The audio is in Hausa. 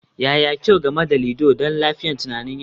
Yaya kyau game da ludo ga lafiyar tunanin yaro?